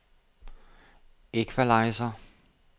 equalizer